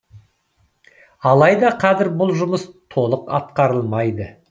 алайда қазір бұл жұмыс толық атқарылмайды